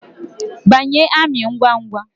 Banye amị ngwa ngwa